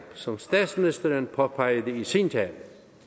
som statsministeren påpegede i sin tale